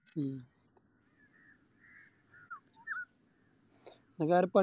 ഉം വേറെ